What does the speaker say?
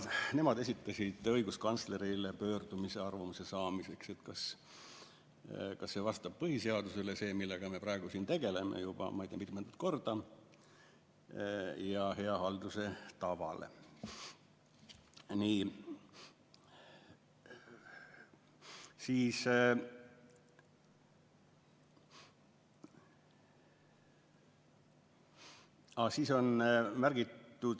Nemad esitasid õiguskantslerile pöördumise, et saada temalt arvamust selle kohta, kas see, millega me praegu siin tegeleme, juba ei tea mitmendat korda, vastab põhiseadusele ja hea halduse tavale.